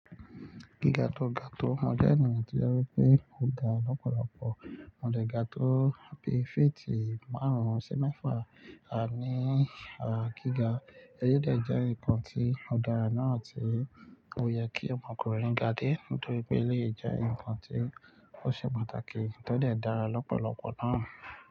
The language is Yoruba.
Gíga tó ga tó mo jẹ́ ẹnìyàn tí ó rí pé mo ga lọ́pọ̀lọpọ̀, mo dẹ́ ga tó bi féètì márùn-ún sí mẹ́fà, ní ara gíga, eyi dè jẹ́ enikan tí ó dára náà tí ó yẹ kí ọmọkùnrin ga dé nítorí pé eléyi jẹ́ nǹkan tí ó ṣe pàtàkì tí ó dè dára lọ́pọ̀lọpọ̀ náà.